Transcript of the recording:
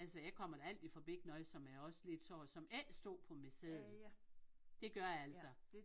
Altså jeg kommer da altid forbi noget som jeg også lige tager som ikke stod på min seddel det gør jeg altså